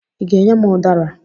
Ị ga-enye m ụdara?